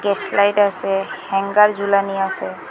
Slide আসে hanger জুলানি আসে।